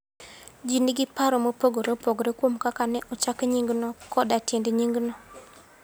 Ji nigi paro mopogore opogore kuom kaka ne ochak nyingno koda tiend nyingno.